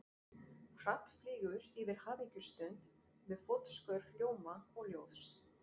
Hratt flýgur yfir hamingjustund við fótskör hljóma og ljóðs.